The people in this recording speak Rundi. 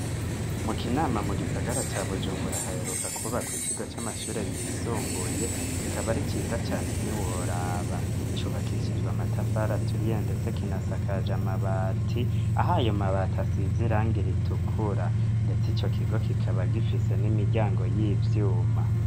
Mu Kinama, mu gisagara ca Bujumbura, haheruka kwubakwa ikigo c'amashure yisumbuye, kikaba ari ciza cane ntiworaba. Cubakishijwe amatafari aturiye, ndetse kinasakaje amabati, aho ayo mabati asize irangi ritukura. Ndetse ico kigo kikaba gifise n'imiryango y'ivyuma.